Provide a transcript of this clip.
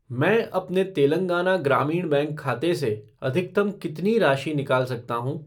मैं अपने तेलंगाना ग्रामीण बैंक खाते से अधिकतम कितनी राशि निकाल सकता हूँ?